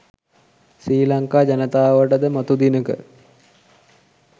ශ්‍රි ලංකා ජනතාවට ද මතු දිනක